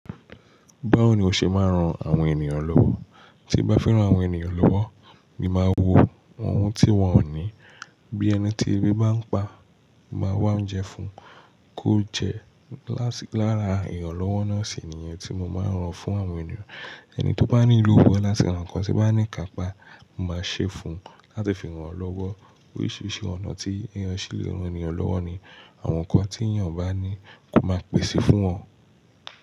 Báwo ni o ṣe máa ń ran àwọn ènìyàn lọ́wọ́? Tí mo bá fẹ́ ran àwọn ènìyàn lọ́wọ́, mi máa wo ohun tí wọ́n ò ní. Bí ẹni tí ebi bá ń pa, mo máa wá oúnjẹ fún un kó jẹ. Lára ìrànlọ́wọ́ náà sì ni yẹn tí mo ma rán fún àwọn ènìyàn ẹni tó bá ní ìwúlò láti ra n kan, tí n bá ní ìkápá mo máa ṣe fún láti fi ràn lọ́wọ́. Oríṣìíríṣìí ọ̀nà tí èèyàn ṣe le ran ènìyàn lọ́wọ́ ni àwọn nǹkan tí èèyàn bá ní, kó máa pèsè fún wọn.